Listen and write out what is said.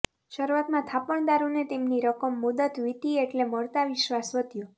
શરૂઆતમાં થાપણદારોને તેમની રકમ મુદત વિતી એટલે મળતાં વિશ્વાસ વધ્યો હતો